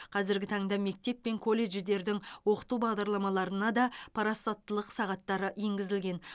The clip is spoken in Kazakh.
қазіргі таңда мектеп пен колледждердің оқыту бағдарламаларына да парасаттылық сағаттары енгізілген